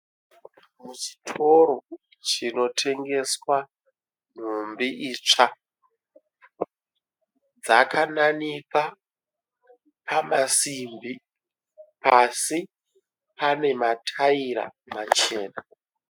Muchitoro chinotengeswa nhumbi itsva. Dzakananikwa pamasimbi. Pasi panemataira machena.